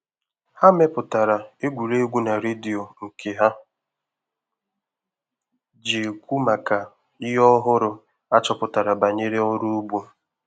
Ha mepụtara egwuregwu na redio nke ha ji ekwu maka ihe ọhụrụ achọpụtara banyere ọrụ ugbo